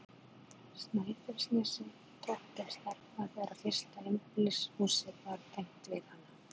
Snæfellsnesi, tók til starfa þegar fyrsta einbýlishúsið var tengt við hana.